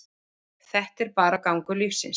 Þetta er bara gangur lífsins.